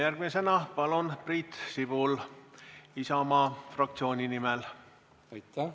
Järgmisena, palun, Priit Sibul Isamaa fraktsiooni nimel!